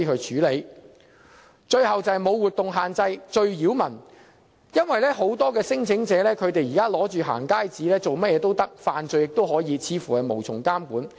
最後是"無活動限制"，這是最擾民的，因為很多聲請人拿着"行街紙"做甚麼也可以，甚至可以犯罪，似乎無從監管。